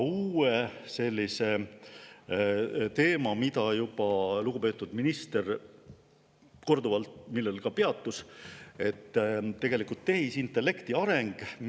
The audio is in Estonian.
Sel uuel teemal lugupeetud minister juba korduvalt peatus: tehisintellekti areng.